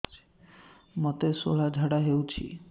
ମୋତେ ଶୂଳା ଝାଡ଼ା ହଉଚି